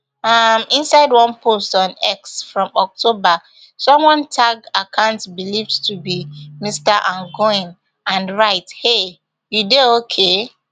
um inside one post on x from october someone tag account believed to be mr mangione and write hey you dey ok